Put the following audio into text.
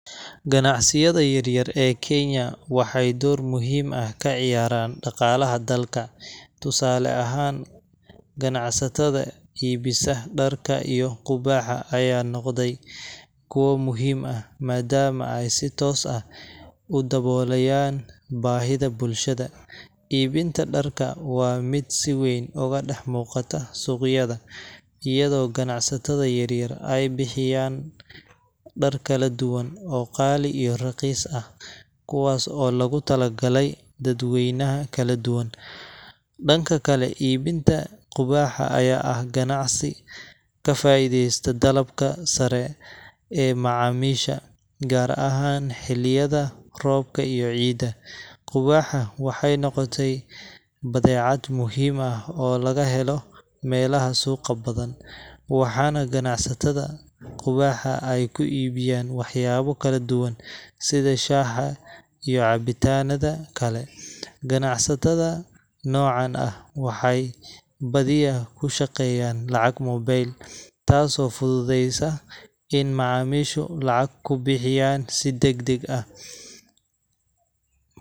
Ganacsiyada yaryar ee kenya waxay door muhiim ah ka ciyaaraan dhaqaalaha dalka. Tusaale ahaan, ganacsatada iibisa dharka iyo qubaaxa ayaa noqday kuwo muhiim ah, maadaama ay si toos ah u daboolayaan baahida bulshada. Iibinta dharka waa mid si weyn uga dhex muuqata suuqyada, iyadoo ganacsatada yaryar ay bixiyaan dhar kala duwan oo qaali iyo raqiis ah, kuwaas oo loogu talagalay dadweynaha kala duwan. Dhanka kale, iibinta qubaaxa ayaa ah ganacsi ka faa'iideysta dalabka sare ee macaamiisha, gaar ahaan xilliyada roobka iyo ciida. qubaaxa waxay noqotay badeecad muhiim ah oo laga helo meelaha suuqa badan, waxaana ganacsatada qubaaxa ay ku iibiyaan waxyaabo kala duwan sida shaaha iyo cabitaanada kale. Ganacsiyada noocan ah waxay badiyaa ku shaqeeyaan lacag moobil, taasoo fududeysa in macaamiishu lacag ku bixiyaan si degdeg ah.